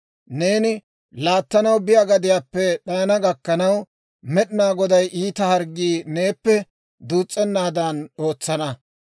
Neeni laattanaw biyaa gadiyaappe d'ayana gakkanaw, Med'inaa Goday iita harggii neeppe duus's'ennaadan ootsana.